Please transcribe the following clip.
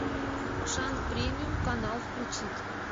шант премиум канал включить